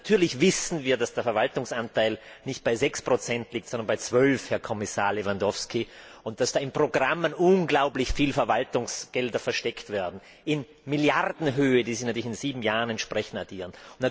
Natürlich wissen wir, dass der Verwaltungsanteil nicht bei 6 liegt, sondern bei 12 Herr Kommissar Lewandowski, und dass in Programmen unglaublich viele Verwaltungsgelder versteckt werden in Milliardenhöhe die sich natürlich in sieben Jahren entsprechend addieren.